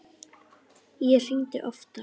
Ég hringdi oftar.